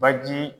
Baji